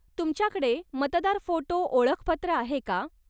तुमच्याकडे मतदार फोटो ओळखपत्र आहे का?